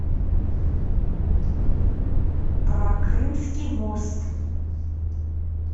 про крымский мост